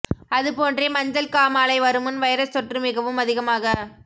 அது போன்றே மஞ்சள் காமாலை வருமுன் வைரஸ் தொற்று மிகவும் அதிகமாக